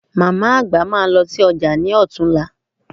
Màmá-àgbà máa lọ sí ọjà lọ́tunla